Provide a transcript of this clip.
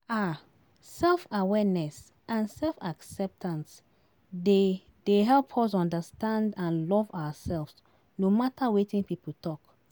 um Self-awareness and self-acceptance dey dey help us understand and love ourselves, no matter wetin people talk.